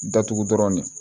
Datugu dɔrɔn de